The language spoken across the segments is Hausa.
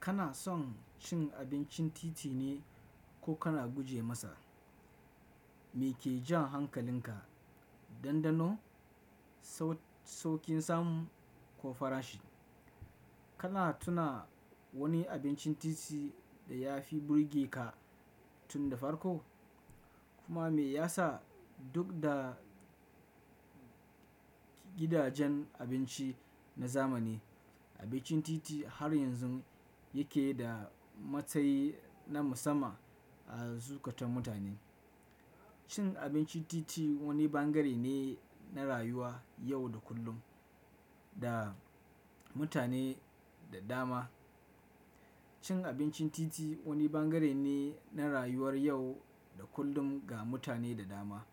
Kana son cin abincin titi ne ko kana guje masa? Me ke jan hankalinka, dandano, saukin samu ko farashi? Kana tuna wani abincin titi da ya fi burge ka tun da farko? Kuma me yasa duk da gidajen abinci na zamani, abincin titi har yanzu yake da matsayi na musamman a zuƙatar mutane? Cin abincin titi wani bangare ne na rayuwar yau da kullum ga mutane da dama. Cin abincin titi wani bangare ne na rayuwar yau da kullum ga mutane da dama.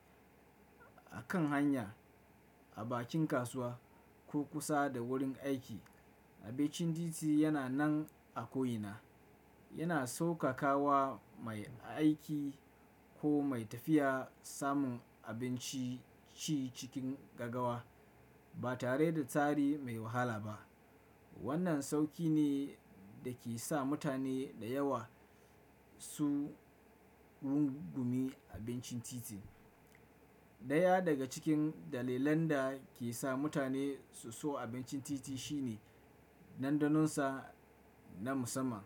A kan hanya, a bakin kasuwa ko kusa da wurin aiki, abincin titi yana nan a ko ina. Yana sauƙaƙawa mai aiki ko mai tafiya samun abinci ci cikin gagawa ba tare da tsari mai wahala ba. Wannan sauƙi ne da ke sa mutane da yawa su rungumi abincin titi. Ɗaya daga cikin dalilan da ke sa mutane su so abincin titi shine dandano sa na musamman.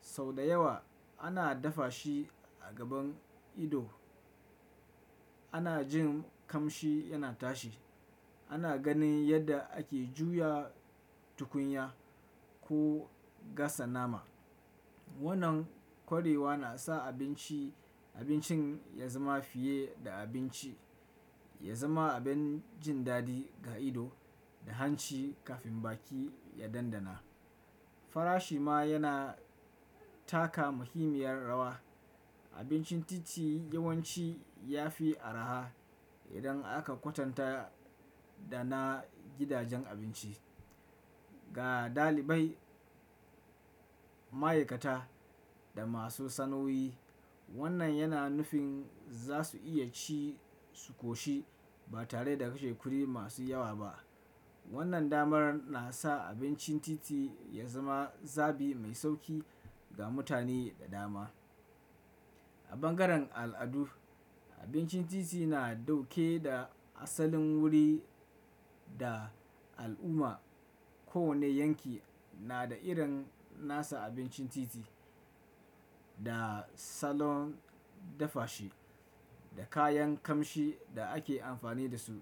Sau da yawa ana dafa shi a gaban ido. Ana jin kamshi yana tashi. Ana ganin yadda ake juya tukunya ko gasa nama. Wannan kwarewa na sa abinci abincin ya zama fiye da abinci, ya zama abin jin daɗi ga ido da hanci kafin baki ya dandana. Farashi ma yana taka muhimmiyar rawa. Abincin titi yawanci ya fi araha idan aka kwatanta da na gidajen abinci. Ga ɗalibai, ma'aikata da masu sana'o'i, wannan yana nufin za su iya ci su ƙoshi ba tare da kashe kuɗi masu yawa ba. Wannan damar na sa abincin titi ya zama zabi mai sauƙi ga mutane da dama. A bangaren al'adu, abincin titi na ɗauke da asalin wuri da al'umma. Ko wane yanki na da irin nasa abincin titi, da salon dafa shi, da kayan kamshi da ake amfani da su.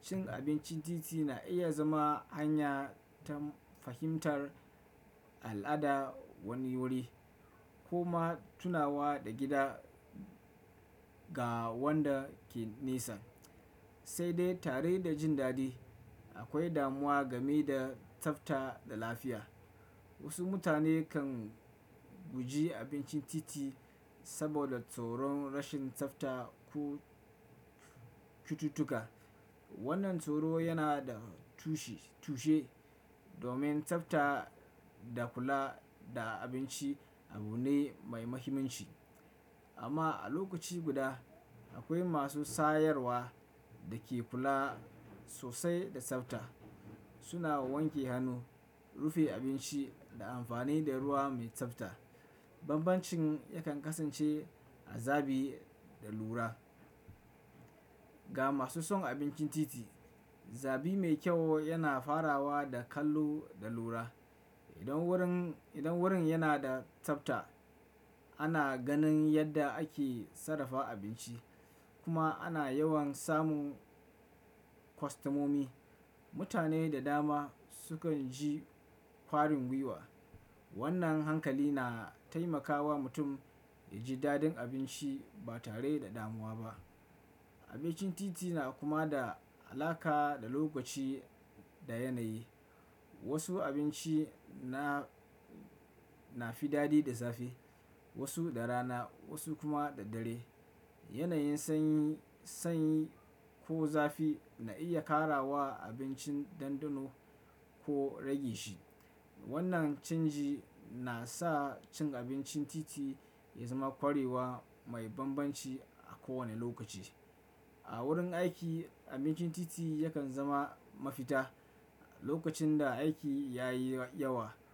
Cin abincin titi na iya zama hanya ta fahimtar al'ada wani wuri kuma tunawa da gida ga wanda ke nesa. Sai dai tare da jin daɗi, akwai damuwa game da tsafta da lafiya. Wasu mutane kan guji abincin titi saboda tsoron rashin tsafta ko cututtuka. Wannan tsoro yana da tushe domin tsafta da kula da abinci abu ne mai muhimmanci. Amma a lokaci guda, akwai masu sayarwa da ke kula sosai da tsafta. Suna wanke hannu, rufe abinci da amfani da ruwa mai tsafta. Banbancin yakan kasance a zabi da lura. Ga masu son abincin titi, zabi mai kyau yana farawa da kallo da lura. Idan wurin yana da tsafta, ana ganin yadda ake sarrafa abinci kuma ana yawan samun kwastomomi. Mutane da dama sukan ji ƙwarin gwiwa. Wannan hankali na taimakawa mutum ya ji daɗin abinci ba tare da damuwa ba. Abincin titi na kuma da alaƙa da lokaci da yanayi. Wasu abinci na fi daɗi da safe, wasu da rana, wasu kuma da dare. Yanayin sanyi ko zafi na iya ƙara wa abincin dandano ko rage shi. Wannan canji na sa cin abincin titi ya zama kwarewa mai banbanci a kowane lokaci. A wurin aiki, abincin titi yakan zama mafita lokacin da aiki ya yi yawa.